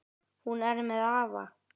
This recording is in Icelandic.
Hún er með afa.